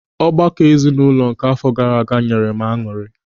Ọgbakọ ezinụlọ nke àfọ gaara aga nyere m añụrị.